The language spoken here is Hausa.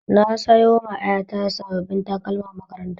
Na sayoma ƴata sabbin takalman makaranta